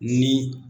Ni